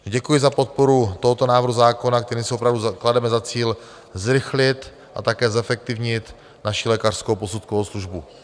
Děkuji za podporu tohoto návrhu zákona, kterým si opravdu klademe za cíl zrychlit a také zefektivnit naši lékařskou posudkovou službu.